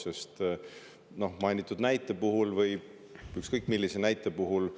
Sest mainitud näite puhul, või ükskõik millise näite puhul,